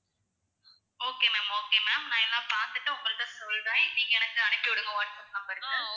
okay ma'am okay ma'am நான் எல்லாம் பாத்துட்டு உங்ககிட்ட சொல்றேன் நீங்க எனக்கு அனுப்பி விடுங்க வாட்ஸப் number க்கு